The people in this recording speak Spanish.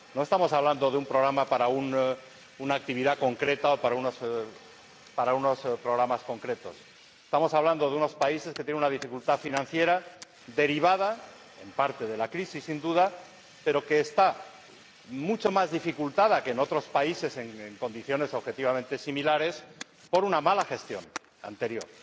No estamos hablando de un programa para una actividad concreta o para unos programas concretos, estamos hablando de unos países que tienen una dificultad financiera derivada, en parte, de la crisis, sin duda, pero que es mucho mayor que en otros países en condiciones objetivamente similares a consecuencia de una mala gestión anterior.